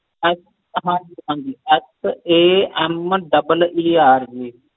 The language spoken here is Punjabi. ਹਾਂਜੀ ਹਾਂਜੀ SAMEER